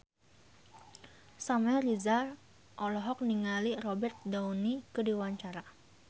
Samuel Rizal olohok ningali Robert Downey keur diwawancara